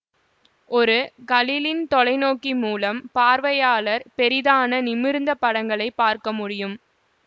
ஒரு கலிலின் தொலைநோக்கி மூலம் பார்வையாளர் பெரிதான நிமிர்ந்த படங்களை பார்க்க முடியும்